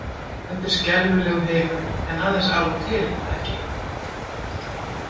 þetta er skelfilegur heimur en aðeins af og til er það ekki?